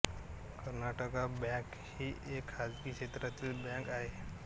Karnataka bank ही एक खाजगी क्षेत्रातील बँक आहे